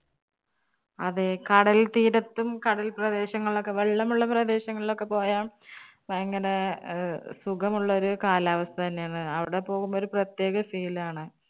അതെ കടൽ തീരത്തും കടൽ പ്രദേശങ്ങളിലും ഒക്കെ വെള്ളം ഉള്ള പ്രേദേശങ്ങളിൽ ഒക്കെ പോയാൽ ഭയങ്കരെ അഹ് സുഖം ഉള്ള ഒരു കാലാവസ്ഥ തന്നെ ആണ്. അവിടെ പോകുമ്പോൾ ഒരു പ്രേത്യേക feel ആണ്.